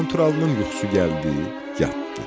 Qanturalının yuxusu gəldi, yatdı.